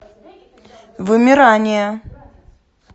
вымирание